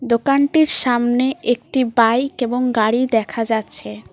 দোকানটির সামনে একটি বাইক এবং গাড়ি দেখা যাচ্ছে।